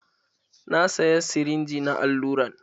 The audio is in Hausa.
Na saya sirinji na alluran.